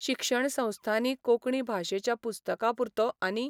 शिक्षणसंस्थांनी कोंकणी भाशेच्या पुस्तकांपुरतो आनी